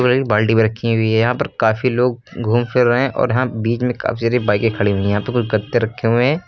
बाल्टी भी रखी हुई है यहां पर काफी लोग घूम फिर रहे हैं और यहां बीच में काफी सारी बाईकें खड़ी हुई हैं यहां पर कुछ गद्दे रखे हुए हैं।